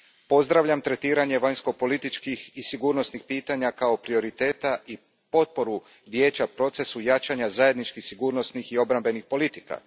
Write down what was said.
Pozdravljam tretiranje vanjsko političkih i sigurnosnih pitanja kao prioriteta i potporu Vijeća procesu jačanja zajedničkih sigurnosnih i obrambenih politika.